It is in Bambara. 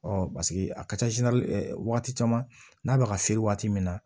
paseke a ka ca wagati caman n'a bɛ ka feere waati min na